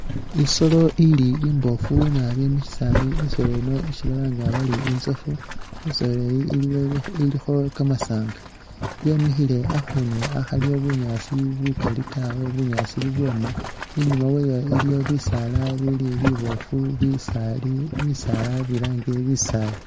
Isoolo ili imbofu naabi musisaali isoolo Eno ishi balanga bari intsofu, isoolo yi ilikho kamasanga yemikhile akhuunu akhaliwo bunyaasi bukaali tawe bunyaasi bubwoma inyuma wayo iliwo bisaala bili bibofu bisaali bisaala bilange bisaali